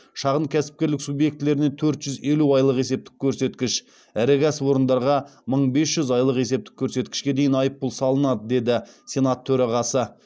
шағын кәсіпкерлік субъектілеріне төрт жүз елу айлық есептік көрсеткіш ірі кәсіпорындарға мың бес жүз айлық есептік көрсеткішке дейін айппұл салынады деді сенат төрағасы